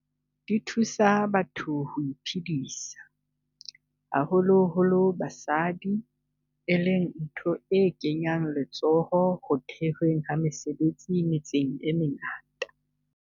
Di thusa batho ho iphedisa, haholo holo basadi, e leng ntho e kenyang letsoho ho the hweng ha mesebetsi metseng e mengata.